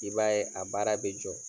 I b'a ye a baara be jɔ.